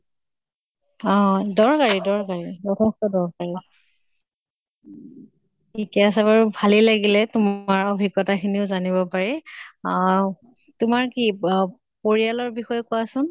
হয় দৰকাৰি দৰকাৰি, যথেষ্ট দৰকাৰি। ঠিকে আছে বাৰু ভালে লাগিলে তোমাৰ অভিজ্ঞ্তা খিনিও জানিব পাই। অহ তোমাৰ কি ব পৰিয়ালৰ বিষয়ে কোৱাচোন।